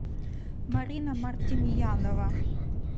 марина мартимьянова